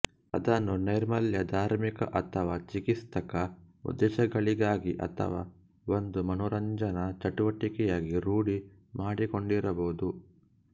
ಅದನ್ನು ನೈರ್ಮಲ್ಯ ಧಾರ್ಮಿಕ ಅಥವಾ ಚಿಕಿತ್ಸಕ ಉದ್ದೇಶಗಳಿಗಾಗಿ ಅಥವಾ ಒಂದು ಮನರಂಜನಾ ಚಟುವಟಿಕೆಯಾಗಿ ರೂಢಿ ಮಾಡಿಕೊಂಡಿರಬಹುದು